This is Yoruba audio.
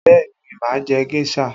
Bẹẹ ni, máa jẹ géṣà